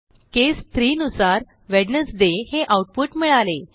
केस 3 नुसार वेडनेसडे हे आऊटपुट मिळाले